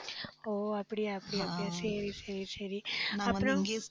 ஓ அப்படியா அப்படியா சரி, சரி, சரி ஆஹ் அப்புறம்